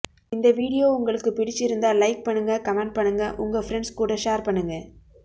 இந்த வீடியோ உங்களுக்கு பிடிச்சி இருந்தா லைக் பண்ணுங்க கமெண்ட் பண்ணுங்க உங்க பிரண்ட்ஸ் கூட ஷேர் பண்ணுங்க